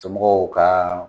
Somɔgɔw ka